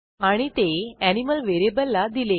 आणि ते एनिमल व्हेरिएबलला दिले